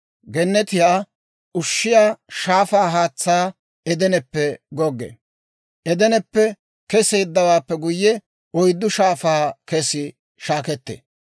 Gennetiyaa ushshiyaa shaafaa haatsay Edeneppe goggee. Edeneppe keseeddawaappe guyye, oyddu shaafaa kes shaakettee.